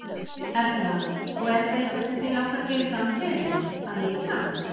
Erla: Og er þetta eitthvað sem þig langar að gera í framtíðinni, að leika?